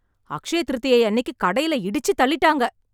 அக்ஷய திருதியை அன்னைக்கு கடையில இடிச்சி தள்ளீட்டாங்க.